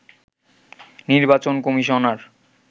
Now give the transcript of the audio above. নির্বাচন কমিশনার